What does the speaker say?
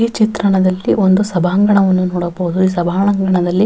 ಈ ಚಿತ್ರಣದಲ್ಲಿ ಒಂದು ಸಭಾಂಗಣವನ್ನು ನೋಡಬಹುದು ಈ ಸಂಭಾಂಗಣದಲ್ಲಿ --